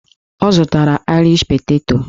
Ọ zụtara aịrish peteto